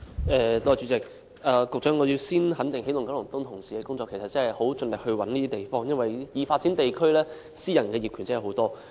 代理主席，局長，我首先肯定起動九龍東辦事處同事的工作，他們真的很盡力尋找合適的地方，因為已發展地區的私人業權真的很多。